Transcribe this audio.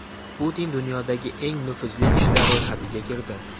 Putin dunyodagi eng nufuzli kishilar ro‘yxatiga kirdi .